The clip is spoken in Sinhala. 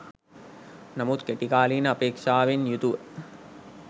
නමුත් කෙටි කාලීන අපේක්ෂාවෙන් යුතුව